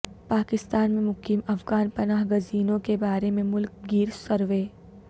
پاکستان میں مقیم افغان پناہ گزینوں کے بارے میں ملک گیر سروے